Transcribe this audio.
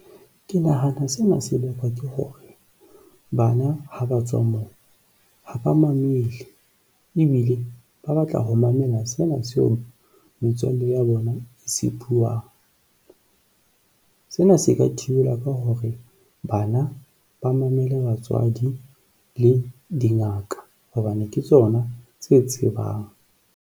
Ke nahana sena se bakwa ke hore bana ha ba tswa moo ha ba mamele ebile ba batla ho mamela sena seo metswalle ya bona e se buang. Sena se ka thibelwa ka hore bana ba mamele batswadi le dingaka hobane ke tsona tse tsebang.